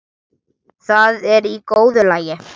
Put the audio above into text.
Það er í góðu lagi,